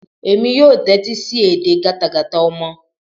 Èmi yóò tẹ́tí sí edè gátagàta ọmọ.